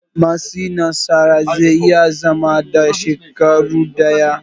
Matsi na tsara zai iya zama na shekaru ɗaya.